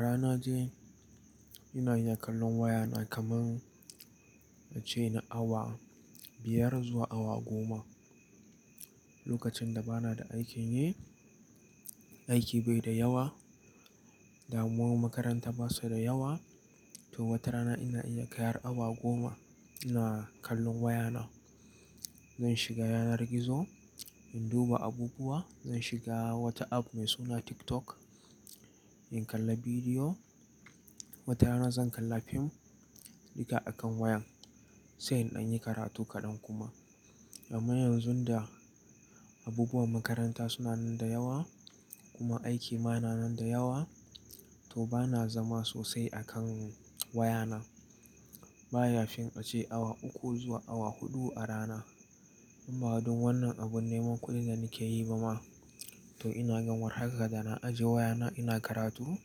Rana je ina iya kallon wayana kaman a ce na awa biyar zuwa awa goma. Lokacin da bana da aikin yi, aiki bai da yawa, damuwar makaranta basa da yawa. To wata rana ina iya kai har awa goma ina kallon wayana. Zan shiga yanar gizo in duba abubuwa, zan shiga wata app mai suna TikTok in kalla bidiyo. Wata rana zan kalla fim duka a kan wayan sai in anyi karatu kaɗan kuma. Amma yanzu da abubuwan makaranta suna nan da yawa kuma aiki ma na nan da yawa, to bana zama sosai a kan wayana. Ba ya fin a ce awa uku zuwa awa huɗu a rana. Amma dun wannan abun neman kuɗi zan keyi ba ma. To inaga war haka da na aje wayana ina karatu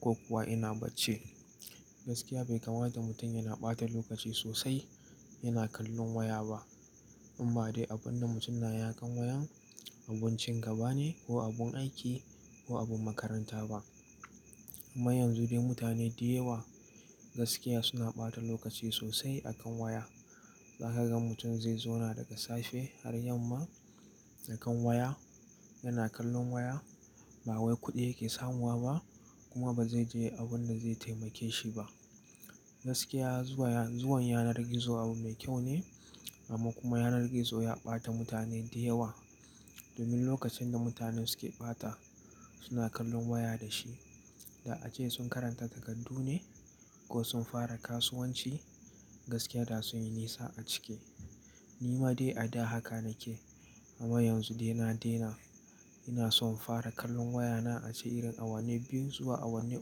ko kuwa ina bacci. Gaskiya bai kamata mutum yana ɓata lokaci sosai yana kallon waya ba. In ba dai abun da mutum yana ya kan wayan abincin gaba ne ko abun aiki ko abun makaranta ba. Amma yanzu dai mutane dayawa gaskiya suna ɓata lokaci sosai a kan waya. Zaka ga mutum zai zauna daga safe har yamma a kan waya, yana kallon waya. Ba wai kuɗi yake samuwa ba kuma ba zai je abun da zai taimake shi ba. Gaskiya zuwa, zuwan yanar gizo abu mai kyau ne amma kuma yanar gizo ya ɓata mutane dayawa. Domin lokacin da mutane suke ɓata suna kallon waya da shi, da ace sun karanta takardu ne ko sun fara kasuwanci gaskiya da sun yi nisa a cike. Ni ma dai a da haka nake amma yanzu dai na daina. Ina son fara kallon wayana a ce irin awanni biyun zuwa awanni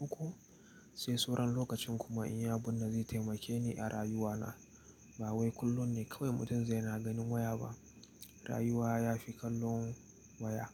uku sai sauran lokacin kuma in yi abun da zai taimake ni a rayuwana. Ba wai kullum ne kawai mutum zai na ganin waya ba. Rayuwa ya fi kallon waya.